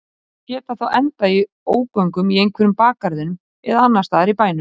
Þær geta þá endað í ógöngum í einhverjum bakgarðinum eða annars staðar í bænum.